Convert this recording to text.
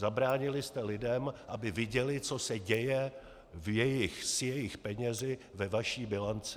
Zabránili jste lidem, aby viděli, co se děje s jejich penězi ve vaší bilanci.